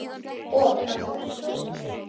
Og partí.